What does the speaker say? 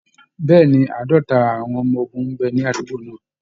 Bẹ́ẹ̀ ni, Àádọ́ta àwọn ọmọ ogun ń bẹ ní àdúgbò náà